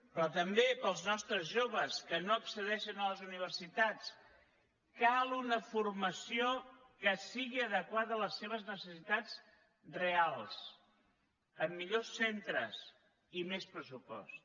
però també per als nostres joves que no accedeixen a les universitats cal una formació que sigui adequada a les seves necessitats reals amb millors centres i més pressupost